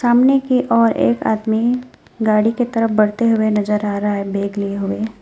सामने की ओर एक आदमी गाड़ी की तरफ बढ़ते हुए नजर आ रहा है बेग लिए हुए।